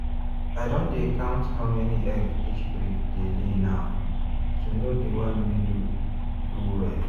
i don dey count how many egg each breed dey lay now to know the one wey do do well.